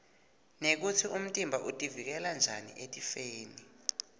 nekutsi umtimba utivikela njani etifeni